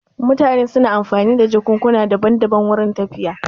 Mutane suna amfani da jakukuna daban daban wurin tafiya